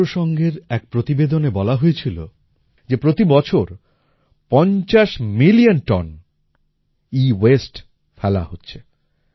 রাষ্ট্র সঙ্ঘের এক প্রতিবেদনে বলা হয়েছিলো যে প্রতি বছর ৫০ মিলিয়ন টন এওয়াসতে ফেলা হচ্ছে